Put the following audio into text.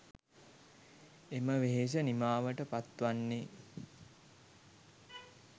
එම වෙහෙස නිමාවට පත් වන්නේ